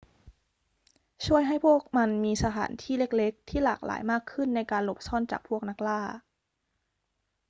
ช่วยให้พวกมันมีสถานที่เล็ก ๆ ที่หลากหลายมากขึ้นในการหลบซ่อนจากพวกนักล่า